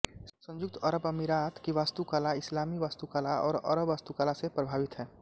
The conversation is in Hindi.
संयुक्त अरब अमीरात की वास्तुकला इस्लामी वास्तुकला और अरब वास्तुकला से प्रभावित है